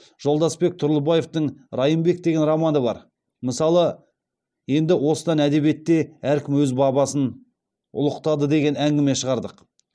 жолдасбек тұрлыбаевтың райымбек деген романы бар мысалы енді осыдан әдебиетте әркім өз бабасын ұлықтады деген әңгіме шығардық